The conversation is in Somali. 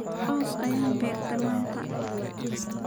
Oos ayan beerte manta.